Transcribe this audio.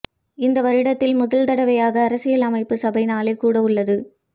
இந்த வருடத்தில் முதல் தடவையாக அரசியல் அமைப்பு சபை நாளை கூடவுள்ளது